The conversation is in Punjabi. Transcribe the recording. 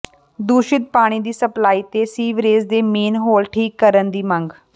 ਦੂਸ਼ਿਤ ਪਾਣੀ ਦੀ ਸਪਲਾਈ ਤੇ ਸੀਵਰੇਜ ਦੇ ਮੇਨ ਹੋਲ ਠੀਕ ਕਰਨ ਦੀ ਮੰਗ